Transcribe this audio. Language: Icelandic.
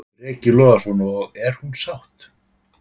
Breki Logason: Og er hún sátt?